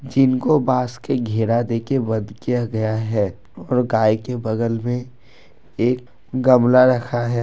जिनको बांस के घेरा देके बंद किया गया है और गाय के बगल में एक गमला रखा है।